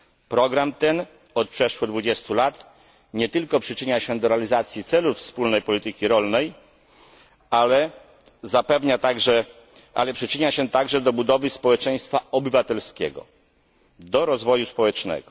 Program ten od przeszło 20 lat nie tylko przyczynia się do realizacji celów wspólnej polityki rolnej, ale przyczynia się także do budowy społeczeństwa obywatelskiego, do rozwoju społecznego.